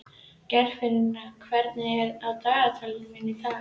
Geirfinna, hvað er á dagatalinu mínu í dag?